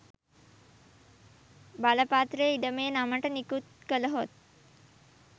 බලපත්‍රය ඉඩමේ නමට නිකුත් කළහොත්